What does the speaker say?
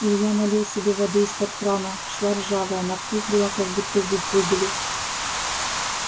илья налил себе воды из-под крана шла ржавая на вкус была как будто зуб выбили